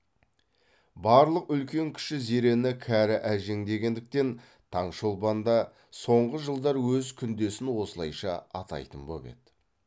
барлық үлкен кіші зерені кәрі әжең дегендіктен таңшолпан да соңғы жылдар өз күндесін осылайша атайтын боп еді